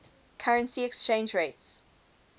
currency exchange rates